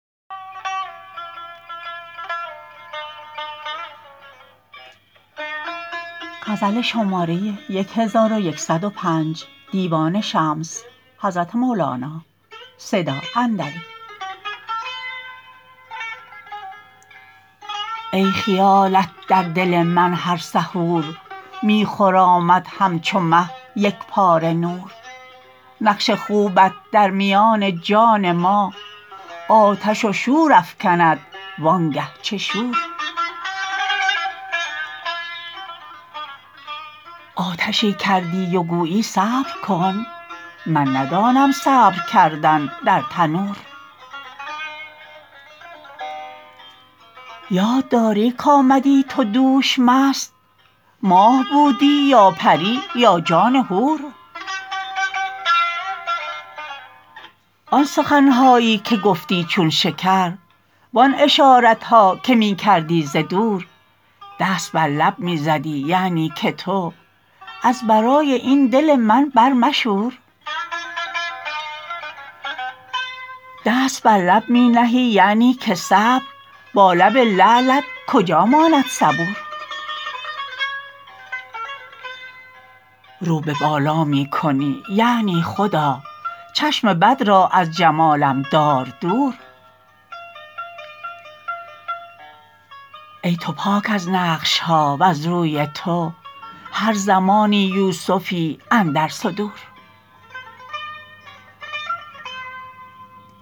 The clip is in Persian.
ای خیالت در دل من هر سحور می خرامد همچو مه یک پاره نور نقش خوبت در میان جان ما آتش و شور افکند وانگه چه شور آتشی کردی و گویی صبر کن من ندانم صبر کردن در تنور یاد داری کآمدی تو دوش مست ماه بودی یا پری یا جان حور آن سخن هایی که گفتی چون شکر وان اشارت ها که می کردی ز دور دست بر لب می زدی یعنی که تو از برای این دل من برمشور دست بر لب می نهی یعنی که صبر با لب لعلت کجا ماند صبور رو به بالا می کنی یعنی خدا چشم بد را از جمالم دار دور ای تو پاک از نقش ها وز روی تو هر زمانی یوسفی اندر صدور